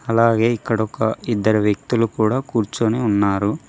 అలాగే ఇక్కడ ఒక ఇద్దరు వ్యక్తులు కూడా కూర్చొని ఉన్నారు.